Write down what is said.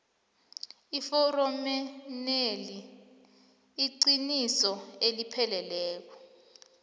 eforomeneli iliqiniso elipheleleko